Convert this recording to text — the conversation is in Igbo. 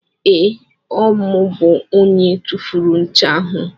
Ee, Ọ mụ bụ onye tufuru ncha ahụ.